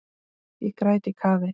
Ég græt í kafi.